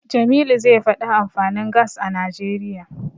Jamilu zai faɗi amfanin Gas a Najeriya.